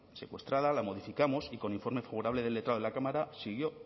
secuestrada la modificamos y con informe favorable del letrado de la cámara siguió